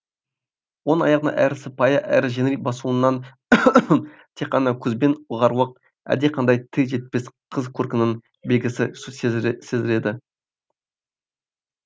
оның аяғын әрі сыпайы әрі жеңіл басуынан тек қана көзбен ұғарлық әлдеқандай тіл жетпес қыз көркінің белгісі сезіледі